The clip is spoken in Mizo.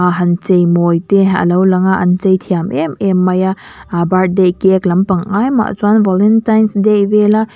han cheimawi te a lo lang a an chei tiam em em mai a aaa birthday cake lampang ai mah chuan valentines day vela--